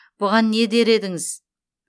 бұған не дер едіңіз